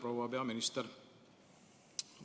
Proua peaminister!